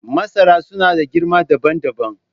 Masara suna da girma dabam dabam.